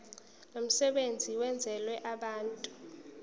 lomsebenzi wenzelwe abantu